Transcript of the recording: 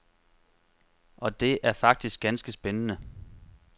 Og det er faktisk ganske spændende.